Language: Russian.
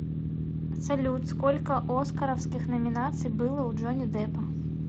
салют сколько оскаровских номинаций было у джонни деппа